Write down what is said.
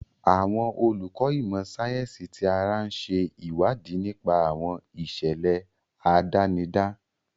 Àwọn olùkọ́ ìmọ̀ sáyẹ́sì ti ara ń ṣe ìwádìí nípa àwọn ìṣẹ̀lẹ̀ àdánidá.